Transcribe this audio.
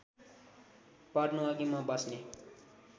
पर्नुअघि म बस्ने